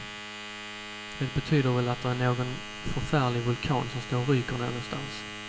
Det betyder väl att det är någon förfärlig vulkan som står och ryker någonstans.